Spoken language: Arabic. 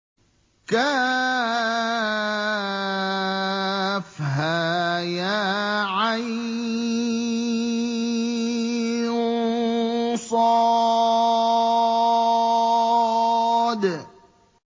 كهيعص